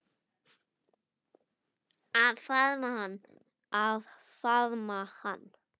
Að faðma hana.